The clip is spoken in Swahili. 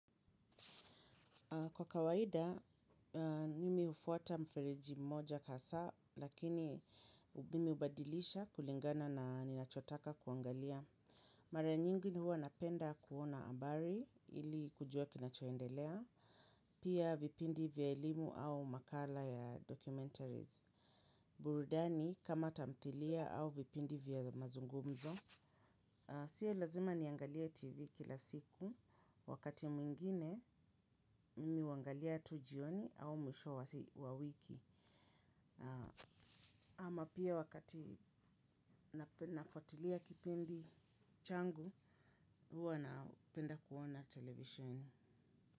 Kwa kawaida, mimi hufuata mferiji mmoja hasaa, lakini mimi hubadilisha kulingana na ninachotaka kuangalia. Mara nyingi huwa napenda kuona habari ili kujua kinachoendelea. Pia vipindi vya elimu au makala ya documentaries. Burudani kama tamthilia au vipindi vya mazungumzo. Sio lazima niangalie tv kila siku wakati mwingine mimi huangalia tu jioni au mwisho wa wiki. Ama pia wakati nafuatilia kipindi changu huwa napenda kuona televisheni.